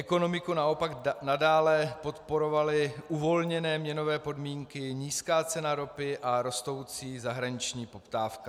Ekonomiku naopak nadále podporovaly uvolněné měnové podmínky, nízká cena ropy a rostoucí zahraniční poptávka.